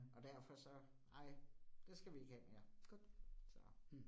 Og derfor så nej, det skal vi ikke have mere. Godt så